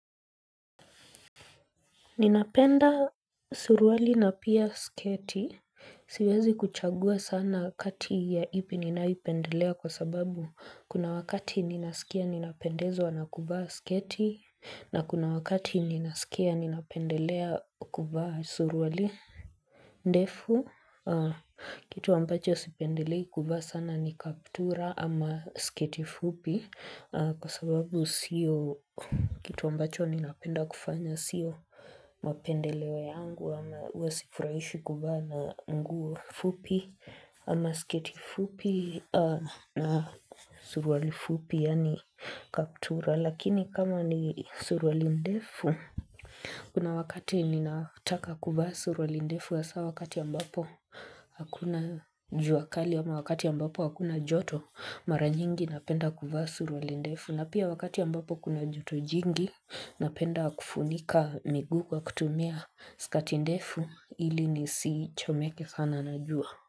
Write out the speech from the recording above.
Ninapenda suruali na pia sketi. Siwezi kuchagua sana kati ya ipi ninayoipendelea kwa sababu kuna wakati ninasikia ninapendezwa nakuvaa sketi na kuna wakati ninasikia ninapendelea kuvaa suruali. Ndefu, kitu ambacho sipendelei kuvaa sana ni kaptura ama sketi fupi Kwa sababu siyo kitu ambacho ninapenda kufanya sio mapendeleo yangu ama hua sifurahishwi kuvaa na nguo fupi ama sketi fupi na suruali fupi yani kaptura Lakini kama ni suruali ndefu Kuna wakati ninataka kuvaa suruali ndefu hasa wakati ambapo hakuna jua kali ama wakati ambapo hakuna joto mara nyingi napenda kuvaa suruali ndefu na pia wakati ambapo kuna joto jingi napenda kufunika miguu kwa kutumia skati ndefu ili nisichomeke sana na jua.